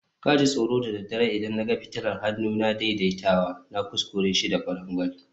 ka ji tsoro da daddare idan na ga fitilar hannuna na daidaitawa, na kuskure shi da kwarangwal